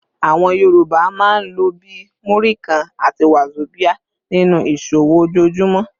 Àwọn Yorùbá máa ń lò bí “Múrí kan” àti “wàzobíà” nínú ìṣòwò ojoojúmọ́.